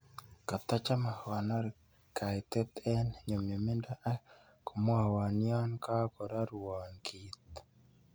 Katacahame kogonor kaitet eng' nyumnyumindo ak komwawon yon kogororuon kiit